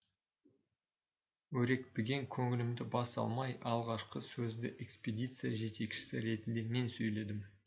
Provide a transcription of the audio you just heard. өрекпіген көңілімді баса алмай алғашқы сөзді экспедиция жетекшісі ретінде мен сөйледім